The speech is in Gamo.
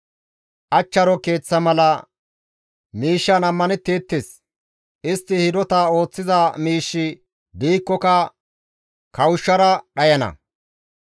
Achcharo keeththa mala miishshan ammanetteettes; istti hidota ooththiza miishshi diikkoka kawushshara dhayana.